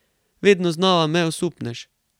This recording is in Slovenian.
Vedno znova me osupneš.